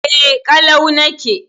E, ƙalau nake.